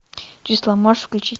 числа можешь включить